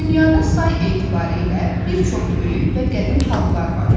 Dünyada say etibarı ilə bir çox böyük və qədim xalqlar var.